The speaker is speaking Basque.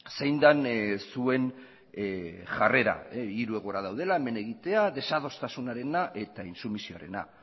zein den zuen jarrera hiru egoera daudela men egitea desadostasunarena eta intsumisioarena